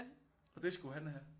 Og det skulle han have